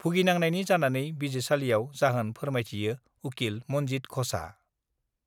भुगिनांनायनि जानानै बिजिरसालिआव जाहोन फोरमायथियो उकिल मन्जित घषआ।